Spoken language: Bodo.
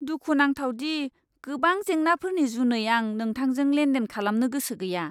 दुखु नांथाव दि गोबां जेंनाफोरनि जुनै आं नोंथांजों लेनदेन खालामनो गोसो गैया!